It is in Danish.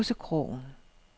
Gåsekrogen